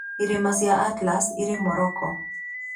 Irĩma cia Atlas irĩ Morocco.